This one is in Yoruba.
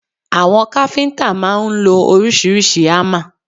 Àwọn káfíntà máà ń lo oríṣiríṣi hámà.